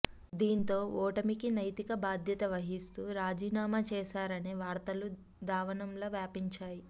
దీంతో ఓటమీకి నైతిక భాద్యత వహిస్తూ రాజీనామ చేశారనే వార్తలు దావానంలా వ్యాపించాయి